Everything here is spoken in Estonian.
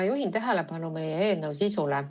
Ma juhin tähelepanu meie eelnõu sisule.